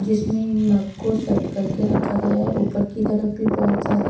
जिसमे इन मग को साइड कर के रक्खा गया है ऊपर की तरफ भी बहत सारे --